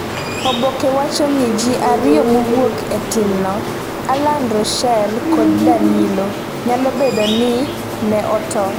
oboke wacho ni ji ariyo mowuok e timno - Alan Ruschel kod Danilo - nyalo bedo ni ne otony